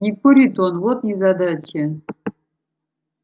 не курит он вот незадача